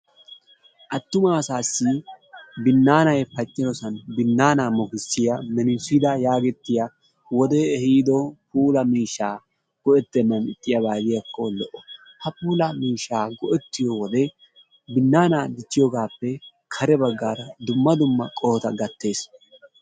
Attuma asaassi binnaanay pacciyoosan binnaana mokissiya menissiida yaagettiya wodee ehiido puula miishshaa go"ettennan ixxiyaaba gidiyaakko lo"o. Ha puulaa mishshaa go"ettiyo wode binnaana dichchiyogaappe kare baggaara dumma dumma qohota gattes.